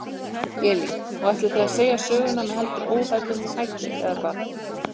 Elín: Og þið ætlið að segja söguna með heldur óhefðbundnum hætti eða hvað?